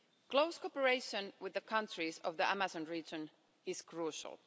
Close cooperation with the countries of the Amazon region is crucial.